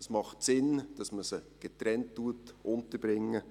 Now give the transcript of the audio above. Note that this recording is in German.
Es macht Sinn, dass man sie getrennt unterbringt.